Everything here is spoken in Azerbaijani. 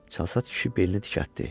Çalsat kişi belini dikəltdi.